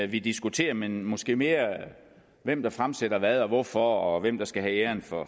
vi diskuterer men måske mere hvem der fremsætter hvad og hvorfor og hvem der skal have æren for